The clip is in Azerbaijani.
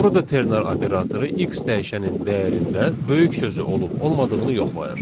Burada ternar operatoru x dəyişənin dəyərində böyük sözü olub olmadığını yoxlayır.